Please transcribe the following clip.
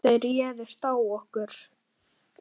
Þeir réðust á okkur.